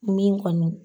Min kɔni